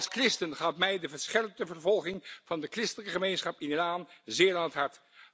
Als christen gaat mij de verscherpte vervolging van de christelijke gemeenschap in Iran zeer aan het hart.